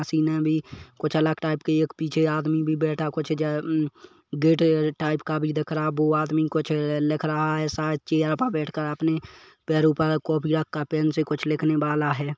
हसीना भी कुछ अलग टाइप के एक पीछे आदमी भी बैठा कुछ गेट टाइप का भी दिख रहा बो आदमी कुछ लिख रहा हैं शायद चेयर पर बैठकर अपने पैरों पर कॉपियों का पेन से कुछ लिखने वाला है।